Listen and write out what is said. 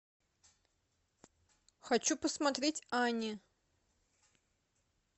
хочу посмотреть ани